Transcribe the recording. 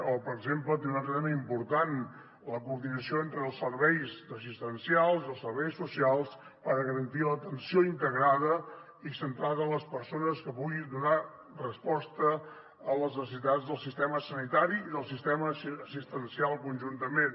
o per exemple també un altre tema important la coordinació entre els serveis assistencials i els serveis socials per garantir l’atenció integrada i centrada en les persones que pugui donar resposta a les necessitats del sistema sanitari i del sistema assistencial conjuntament